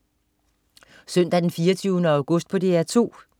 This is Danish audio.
Søndag den 24. august - DR 2: